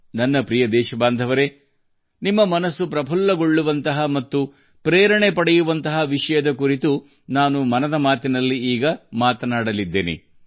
ನನ್ನ ಪ್ರೀತಿಯ ದೇಶವಾಸಿಗಳೇ ಮನ್ ಕಿ ಬಾತ್ ನಲ್ಲಿ ನಿಮ್ಮ ಮನಸ್ಸನ್ನು ಸಂತೋಷಪಡಿಸುವ ಮತ್ತು ನಿಮಗೆ ಸ್ಫೂರ್ತಿ ನೀಡುವ ವಿಷಯದ ಕುರಿತು ಈಗ ಮಾತನಾಡೋಣ